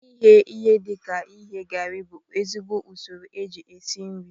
Ighe ihe dika ighe garị bụ ezigbo usoro eji esi nri